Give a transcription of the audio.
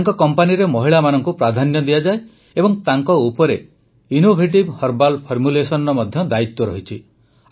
ତାଙ୍କ କମ୍ପାନୀରେ ମହିଳାମାନଙ୍କୁ ପ୍ରାଧାନ୍ୟ ଦିଆଯାଏ ଏବଂ ତାଙ୍କ ଉପରେ ଇନ୍ନୋଭେଟିଭ୍ ହର୍ବାଲ୍ ଫର୍ମୁଲେସନ୍ସର ମଧ୍ୟ ଦାୟିତ୍ୱ ଅଛି